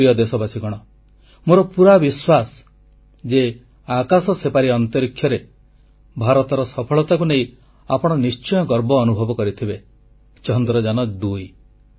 ମୋର ପ୍ରିୟ ଦେଶବାସୀଗଣ ମୋର ପୁରା ବିଶ୍ୱାସ ଯେ ଆକାଶ ସେପାରି ଅନ୍ତରୀକ୍ଷରେ ଭାରତର ସଫଳତାକୁ ନେଇ ଆପଣ ନିଶ୍ଚୟ ଗର୍ବ ଅନୁଭବ କରିଥିବେ ଚନ୍ଦ୍ରଯାନ2